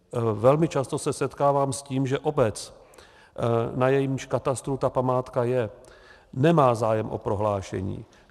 Velmi často se setkávám s tím, že obec, na jejímž katastru ta památka je, nemá zájem o prohlášení.